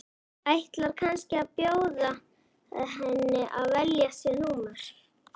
Ætlar kannski að bjóða henni að velja sér númer.